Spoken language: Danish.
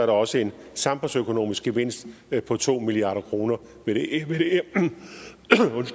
også en samfundsøkonomisk gevinst på to milliard kroner ved